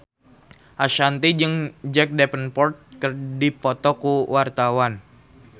Ashanti jeung Jack Davenport keur dipoto ku wartawan